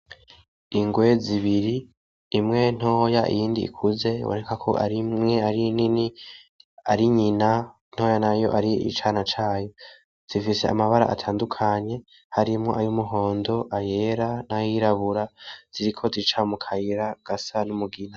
Ingwe zibiri, imwe ntoya iyindi ikuze, biboneka ko imwe ari nini ari nyina; ntoya nayo ar'icana cayo, zifise amabara atandukanye harimwo ay'umuhondo; ayera; n'ayirabura, ziriko zica mu kayira gasa n'umugina.